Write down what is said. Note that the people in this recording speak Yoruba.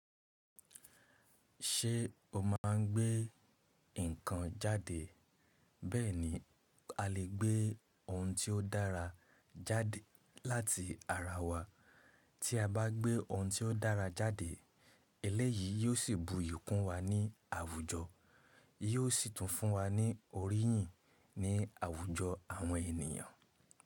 Ṣé o má a ń gbé nǹkan jáde? Bẹ́ẹ̀ni a lè gbé ohun tí ó dára jáde láti ara wa. Tí a bá gbé ohun tí ó dára jáde, eléyìí yóò sì bu iyì kún wa ní àwùjọ, yóò sì tún fún wa ní oríyìn ní àwùjọ àwọn ènìyàn.